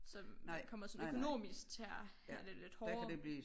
Så man kommer sådan økonomisk til at have det lidt hårdere